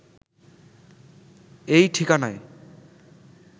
এই ঠিকানায়